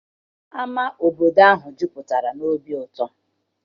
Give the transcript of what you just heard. Ama obodo ahụ jupụtara na obi ụtọ.